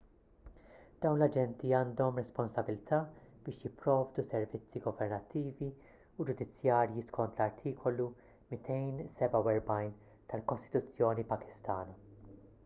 dawn l-aġenti għandhom responsabbiltà biex jipprovdu servizzi governattivi u ġudizzjarji skont l-artikolu 247 tal-kostituzzjoni pakistana